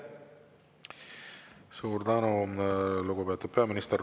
Suur tänu, lugupeetud peaminister!